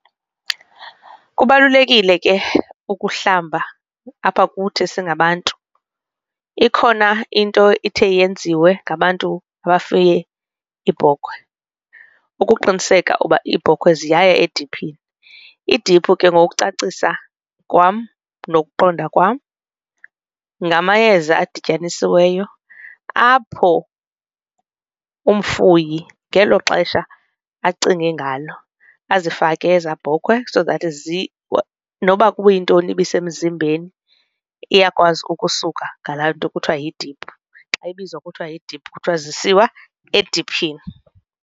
Kubalulekile ke ukuhlamba apha kuthi singabantu ikhona into ithe yenziwe ngabantu abafuye iibhokhwe ukuqiniseka uba iibhokhwe ziyaya ediphini, idiphu ke ngokucacisa kwam nokuqonda kwam ngamayeza adityanisiweyo apho umfuyi ngelo xesha acinge ngalo azifake eza bhokhwe so that noba kuyintoni ibisemzimbeni iyakwazi ukusuka ngalaa nto kuthiwa yidiphu xa ibizwa kuthiwa yidiphu kuthiwa zisiwa ediphini.